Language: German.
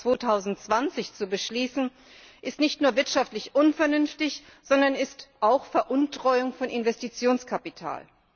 2020 zu beschließen, ist nicht nur wirtschaftlich unvernünftig, sondern ist auch Veruntreuung von Investitionskapital.